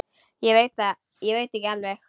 Ég veit ekki alveg.